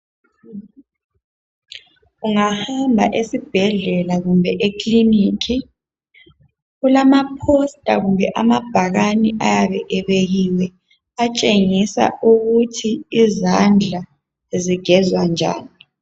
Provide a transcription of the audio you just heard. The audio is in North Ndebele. Ungahamba esibhedlela kumbe ekilinika kulama bhakani kumbe ama "poster" ayabe ebekiwe atshengisa ukuthi izandla zigezwa njani.